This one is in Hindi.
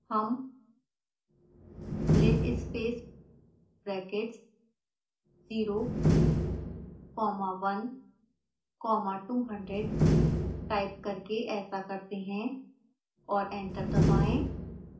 हम linspace brackets 0 comma 1 comma 200 type करके ऐसा करते हैं और एंटर दबाएं